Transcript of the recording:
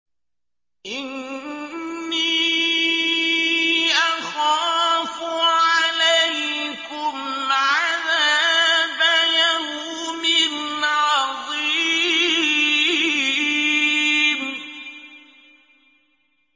إِنِّي أَخَافُ عَلَيْكُمْ عَذَابَ يَوْمٍ عَظِيمٍ